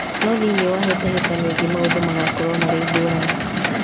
No thĩinĩ wa hĩtahĩtano ĩngĩ maũndũ magakorwo marĩ ngũrani